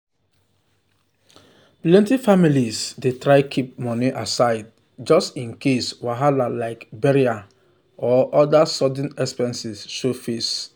plenty families dey try keep money aside just in case wahala like burial or other sudden expenses show face.